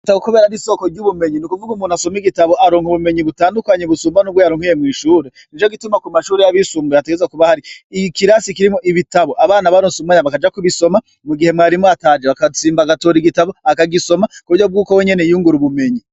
Itabkubera ari soko ry'ubumenyi ni ukuvuga umuntu asoma igitabo aronka ubumenyi butandukanyi busumba n'ubwo yaronkuye mw'ishure ni co gituma ku mashuri y'abishumbuye ategeza kuba hari iki kirasi kirimo ibitabo abana baronse ubumanya bakaja kubisoma mu gihe mwarimo ataje bakazimba agatora igitabo akagisoma ku bryo bw'uko we nyene yiyungura ubumenyi.